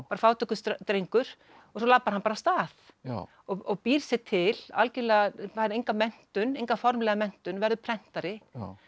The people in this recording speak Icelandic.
var fátækur drengur og svo labbar hann bara af stað og býr sér til fær enga menntun enga formlega menntun verður prentari